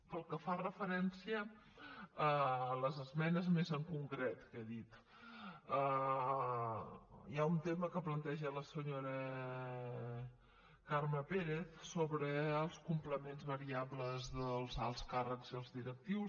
pel que fa referència a les esmenes més en concret que he dit hi ha un tema que planteja la senyora carme pérez sobre els complements variables dels alts càrrecs i els directius